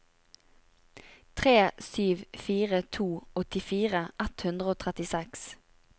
tre sju fire to åttifire ett hundre og trettiseks